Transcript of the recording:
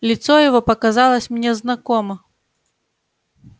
лицо его показалось мне знакомо